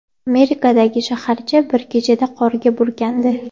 Amerikadagi shaharcha bir kechada qorga burkandi.